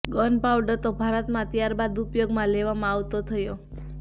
gun powder તો ભારતમાં ત્યાર બાદ ઉપયોગમાં લેવામાં આવતો થયો